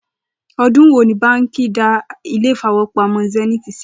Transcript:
O̩dún wo ni báǹkì a dá ilé ìfowópamó̩ Sé̩níìtì sílè̩?